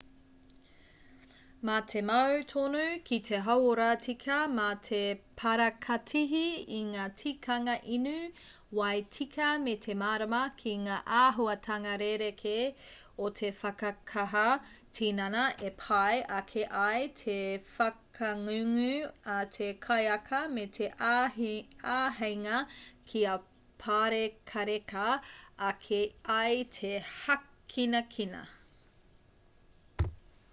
mā te mau tonu ki te hauora tika mā te parakatihi i ngā tikanga inu wai tika me te mārama ki ngā āhuatanga rerekē o te whakakaha tinana e pai ake ai te whakangungu a te kaiaka me te āheinga kia pārekareka ake ai te hākinakina